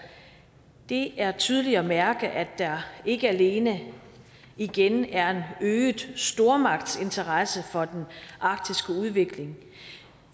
det er tydeligt at mærke at der ikke alene igen er en øget stormagtsinteresse for den arktiske udvikling